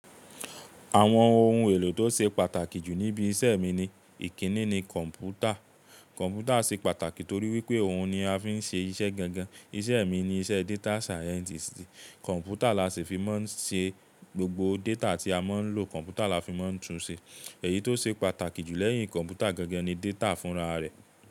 Àwọn ohun èlò tó ṣe pàtàkì jù níbi iṣẹ́ mi ni ìkíni ni kọ̀m̀pútà. Kọ̀m̀pútà ṣe pàtàkì torí wípé òun ni a fi ń ṣe iṣẹ́ gangan. Iṣẹ́ mi ni iṣẹ́ data scientist. Kọ̀m̀pútà làṣi fi máa ń ṣe gbogbo data tí a máa ń lò, kọ̀m̀pútà la fi máa ń tun ṣe. Ẹ̀yí tó ṣe pàtàkì jù lẹ́yìn kọ̀m̀pútà gangan ni data fúnra rẹ̀.